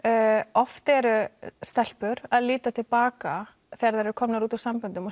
oft eru stelpur að líta til baka þegar þær eru komnar út úr samböndum og